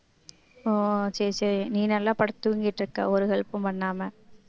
ஓ சரி சரி நீ நல்லா படுத்து தூங்கிட்டு இருக்க ஒரு help உம் பண்ணாம